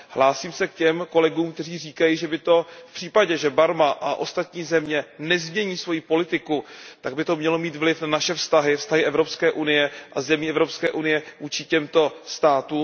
Hlásím se k těm kolegům, kteří říkají, že by to v případě, že Barma a ostatní země nezmění svoji politiku, mělo mít vliv na naše vztahy, vztahy Evropské unie a zemí Evropské unie s těmito státy.